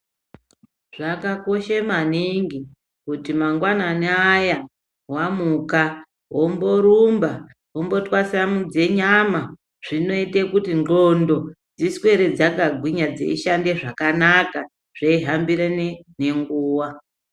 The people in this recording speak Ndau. Zvakakoshe maningi kuti mangwanani aya wamuka womborumba, wombotwasamudze nyama zvinoite kuti ndxondo dziswere dzakagwinya dzeishande zvakanaka zveihambirane nenguva.